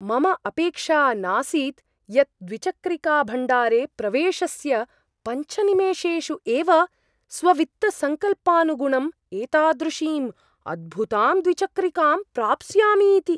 मम अपेक्षा नासीत् यत् द्विचक्रिकाभण्डारे प्रवेशस्य पञ्चनिमेषेषु एव स्ववित्तसंकल्पानुगुणम् एतादृशीम् अद्भुतां द्विचक्रिकां प्राप्स्यामि इति।